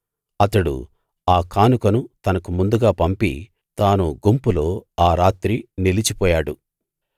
అతడు ఆ కానుకను తనకు ముందుగా పంపి తాను గుంపులో ఆ రాత్రి నిలిచిపోయాడు